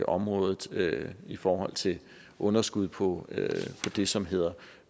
området i forhold til et underskud på det som hedder